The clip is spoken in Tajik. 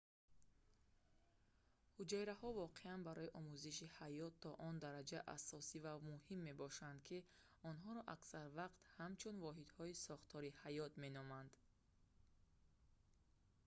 ҳуҷайраҳо воқеан барои омӯзиши ҳаёт то он дараҷа асосӣ ва муҳим мебошанд ки онҳоро аксар вақт ҳамчун «воҳидҳои сохтории ҳаёт» меноманд